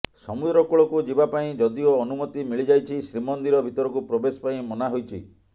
ସମୁଦ୍ର କୂଳକୁ ଯିବା ପାଇଁ ଯଦିଓ ଅନୁମତି ମିଳିଯାଇଛି ଶ୍ରୀମନ୍ଦିର ଭିତରକୁ ପ୍ରବେଶ ପାଇଁ ମନା ହୋଇଛି